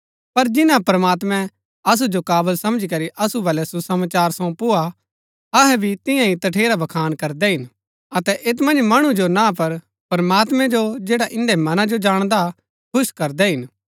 पर जिन्‍ना प्रमात्मैं असु जो काबल समझी करी असु बल्लै सुसमाचार सौंपुआ अहै भी तियां ही तठेरा बखान करदै हिन अतै ऐत मन्ज मणु जो ना पर प्रमात्मैं जो जैडा इन्दै मनां जो जाणदा खुश करदै हिन